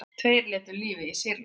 Tveir létu lífið í Sýrlandi